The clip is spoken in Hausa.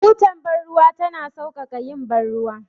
Butar bar ruwa tana sauƙaƙa yin bar ruwa.